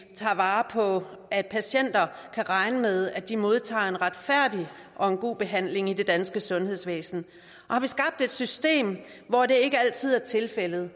tager vare på at patienter kan regne med at de modtager en retfærdig og god behandling i det danske sundhedsvæsen og har vi skabt et system hvor det ikke altid er tilfældet